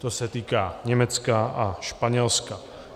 To se týká Německa a Španělska.